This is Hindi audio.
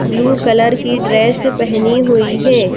ब्लू कलर की ड्रेस पहनी हुई है।